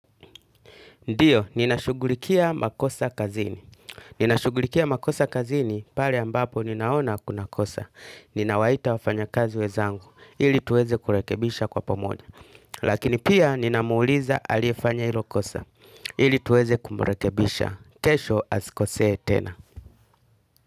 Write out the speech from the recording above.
Ndiyo, ninashugulikia makosa kazini. Ninashugulikia makosa kazini, pale ambapo ninaona kuna kosa. Ninawaita wafanyakazi wenzangu, ili tuweze kurekebisha kwa pomoja. Lakini pia ninamuuliza aliyefanya ilo kosa, ili tuweze kumrekebisha. Kesho asikosee tena.